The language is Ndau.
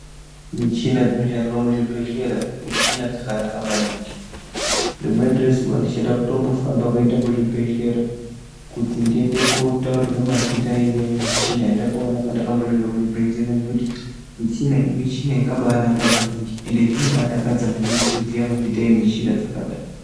Michina dzinoshandiswa muzvibhehlera michina dzakanaka maningi, rimweni rezuva ndichada kutombofamba kuenda kuzvibhedhlera kuti ndiende kotaururwa amweni mazita emichina yandakaona pandakambisvika kuchibhehlera ngekuti michina iyi michina yakabanaka maningi ende zvinobadakadza maningi kuziya mazita emichina dzakada.